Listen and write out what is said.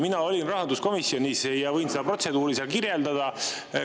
Mina olin rahanduskomisjonis ja võin seda protseduuri seal kirjeldada.